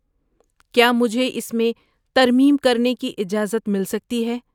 کیا مجھے اس میں ترمیم کرنے کی اجازت مل سکتی ہے؟